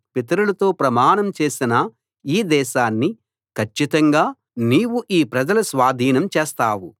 నిబ్బరంగా ధైర్యంగా ఉండు వారికిస్తానని నేను వారి పితరులతో ప్రమాణం చేసిన ఈ దేశాన్ని కచ్చితంగా నీవు ఈ ప్రజల స్వాధీనం చేస్తావు